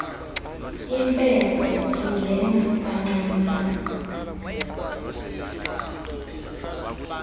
impepho ingena kancinane